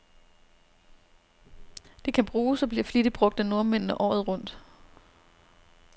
Det kan bruges, og bliver flittigt brug af nordmændene, året rundt.